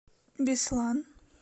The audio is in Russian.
беслан